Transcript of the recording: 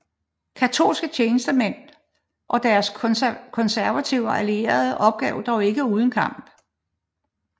Katolske tjenestemænd og deres konservative allierede opgav dog ikke uden kamp